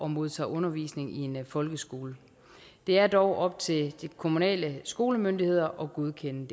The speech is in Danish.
modtage undervisning i en folkeskole det er dog op til de kommunale skolemyndigheder at godkende